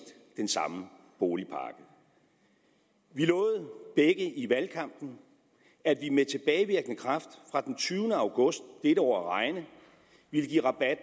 den samme boligpakke vi lovede begge i valgkampen at vi med tilbagevirkende kraft fra den tyvende august dette år at regne ville give rabat